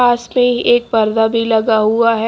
पास में ही एक पर्दा भी लगा हुआ है।